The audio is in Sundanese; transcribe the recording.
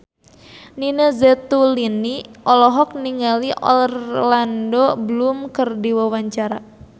Nina Zatulini olohok ningali Orlando Bloom keur diwawancara